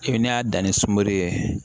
I bɛ n'i y'a dan ni sunbere ye